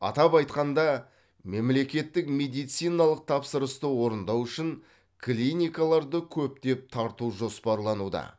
атап айтқанда мемлекеттік медициналық тапсырысты орындау үшін клиникаларды көптеп тарту жоспарлануда